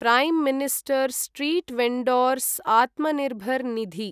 Prime minister street vendors Atmanirbhar Nidhi